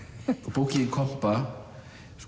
bókin þín kompa